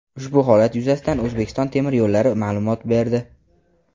Ushbu holat yuzasidan "O‘zbekiston temir yo‘llari" ma’lumot berdi.